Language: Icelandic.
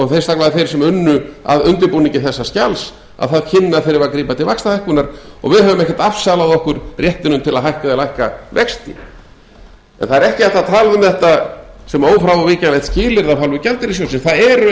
sérstaklega þeir sem unnu að undirbúningi þessa skjals að það kynni að þurfa að grípa til vaxtahækkunar og við höfum ekkert afsalað okkur réttinum til að hækka eða lækka vexti en það er ekki hægt að tala um þetta sem ófrávíkjanlegt skilyrði af hálfu gjaldeyrissjóðsins það eru